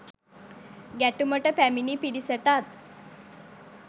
ගැටුමට පැමිණි පිරිසටත්